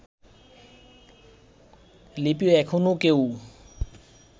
লিপি এখনও কেউ